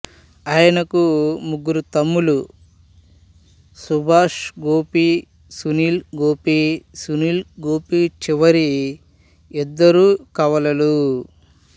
ఆయనకు ముగ్గురు తమ్ములు సుభాష్ గోపి సునీల్ గోపి సునీల్ గోపి చివరి ఇద్దరు కవలలు